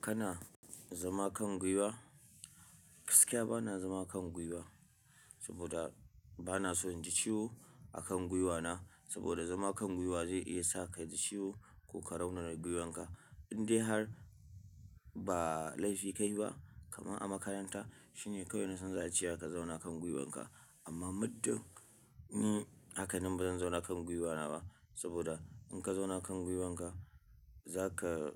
Kana zama kan gwiwa? Gaskiya bana zama akan gwiwa, saboda bana son in ji ciwo a kan gwiwana. Saboda zama kan gwiwa zai iya sa ka ji ciwo ko ka raunara gwiwanka. Indai har ba laifi ka yi ba, kamar a makaranta shine kawai nasan za'ace wa ka zauna kan gwiwanka. Amma muddin ni haka ni bazan zauna kan gwiwana ba, saboda in ka zauna kan gwiwanka za ka